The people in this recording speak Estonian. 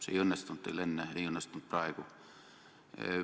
See ei õnnestunud teil enne ega õnnestunud praegu.